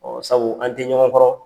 sabu an tɛ ɲɔgɔn kɔrɔ